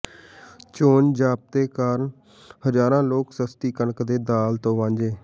ਚੋਣ ਜ਼ਾਬਤੇ ਕਾਰਨ ਹਜ਼ਾਰਾਂ ਲੋਕ ਸਸਤੀ ਕਣਕ ਤੇ ਦਾਲ ਤੋਂ ਵਾਂਝੇ